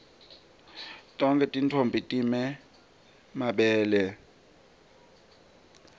tonkhe tintfombi time mabele